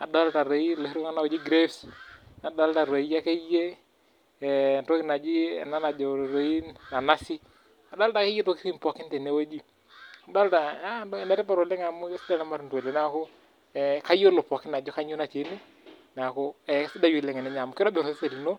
nadolta toi iloshi tokitin ooji cs[grapes]cs nadolta toi akeiye ee, entoki naji ena najo toi ee, nanasi adolta akeyie intoki pookin tene weji, adolta, naa enetipat oleng' amu kesidan ilmatunda oleng' neeku kayiolo pookin ajo kanyio natii ene neeku kesidai oleng' teninya amuu kitobirr osesen lino.